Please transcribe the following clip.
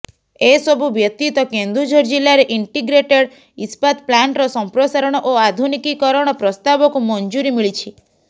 ଏସବୁ ବ୍ୟତୀତ କେନ୍ଦୁଝର ଜିଲ୍ଲାରେ ଇଣ୍ଟିଗ୍ରେଟେଡ୍ ଇସ୍ପାତ ପ୍ଲାଣ୍ଟର ସମ୍ପ୍ରସାରଣ ଓ ଆଧୁନିକୀକରଣ ପ୍ରସ୍ତାବକୁ ମଞ୍ଜୁରୀ ମିଳିଛି